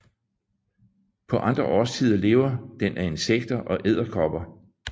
På andre årstider lever den af insekter og edderkopper